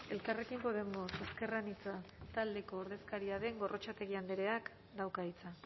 elkarrekin podemos ezker anitza taldeko ordezkaria den gorrotxategi andreak dauka hitza